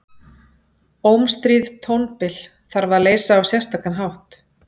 Ómstríð tónbil þarf að leysa á sérstakan hátt.